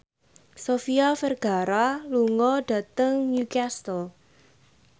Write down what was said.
Sofia Vergara lunga dhateng Newcastle